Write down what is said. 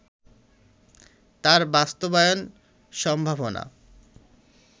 তার বাস্তবায়ন সম্ভাবনা